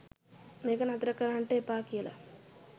මේක නතර කරන්ඩ එපා කියලා.